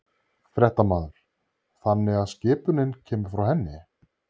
Fréttamaður: Þannig að skipunin kemur frá henni?